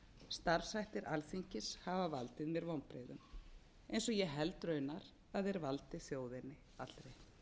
starfshættir alþingis hafa valdið mér vonbrigðum eins og ég held raunar að þeir valdi þjóðinni allri